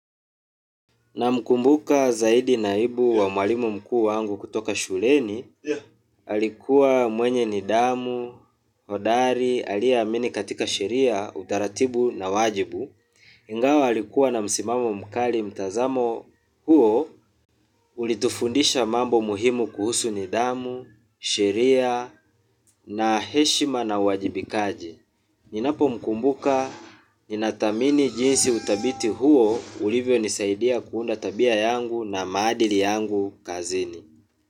Namkumbuka zaidi naibu wa mwalimu mkuu wangu kutoka shuleni, alikuwa mwenye nidhamu, hodari, aliyeamini katika sheria, utaratibu na wajibu. Ingawa alikuwa na msimamo mkali mtazamo huo, ulitufundisha mambo muhimu kuhusu nidhamu, sheria, na heshima na uwajibikaji. Ninapomkumbuka, ninathamini jinsi utabiti huo ulivyonisaidia kuunda tabia yangu na maadili yangu kazini.